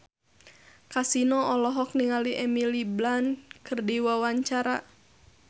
Kasino olohok ningali Emily Blunt keur diwawancara